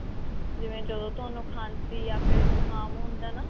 ਜਿਵੇਂ ਜਦੋਂ ਤੁਹਾਨੂੰ ਖਾਂਸੀ ਜਾ ਫੇਰ ਜੁਕਾਮ ਹੁੰਦਾ ਨਾ